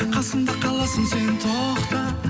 қасымда қаласың сен тоқта